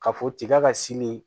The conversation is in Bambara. Ka fɔ tiga ka sini